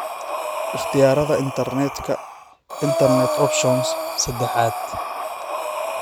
Ikhtiyaarada Internetka (Internet Options) sedaxad